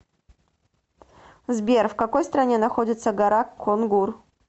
сбер в какой стране находится гора конгур